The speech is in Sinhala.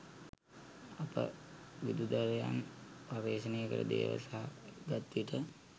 අප විදුදරයන් පර්යේෂණයකට දේව සහය ගත් විට